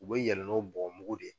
U bɛ yɛlɛ n'o bɔgɔmugu de ye.